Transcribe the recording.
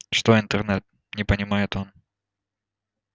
что интернет не понимает он